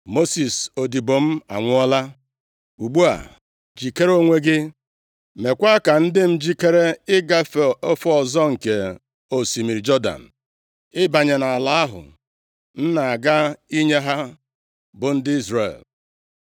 “Mosis, odibo m anwụọla. + 1:2 \+xt Ọnụ 12:7\+xt* Ugbu a, jikere onwe gị, + 1:2 Nʼoge a, ndị Izrel nọ na Shitim \+xt Jos 2:1; 3:1\+xt* nʼala Moab \+xt Dit 34:3\+xt* dị nʼakụkụ Jọdan. meekwa ka ndị m jikere ịgafe ofe ọzọ nke osimiri Jọdan, ịbanye nʼala ahụ m na-aga inye ha, bụ ndị Izrel.